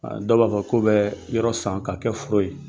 Dɔw b'a fɔ ko bɛ yɔrɔ san ka kɛ foro ye.